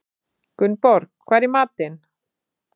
Gunnborg, hvað er í matinn?